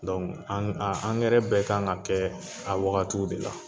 Dɔnku a angɛrɛ bɛ kan ka kɛ a wagatiw de la